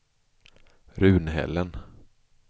Runhällen